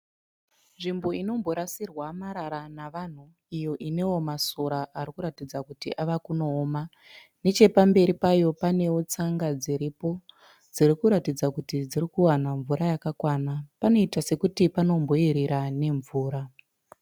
Nzvimbo inomborasirwa marara navanhu iyo ineo masora arikuratidza kuti avakunooma. Nechepamberi payo paneo tsanga dziripo. Idzo dzirikuratidza kuti dzirikuwana mvura yakakwana. Panoita sekuti panomboerera mvura.